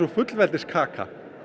fullveldið sé kaka